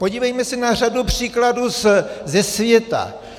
Podívejme se na řadu příkladů ze světa.